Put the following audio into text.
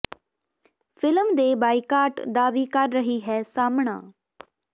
film ਦੇ boycott ਦਾ ਵੀ ਕਰ ਰਹੀ ਹੈ ਸਾਹਮਣਾ